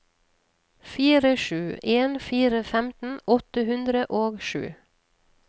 fire sju en fire femten åtte hundre og sju